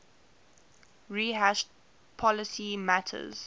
rehash policy matters